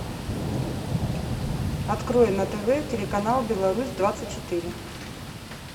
открой на тв телеканал беларусь двадцать четыре